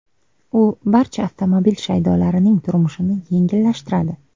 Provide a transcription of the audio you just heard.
U barcha avtomobil shaydolarining turmushini yengillashtiradi.